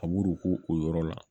A b'u k'u o yɔrɔ la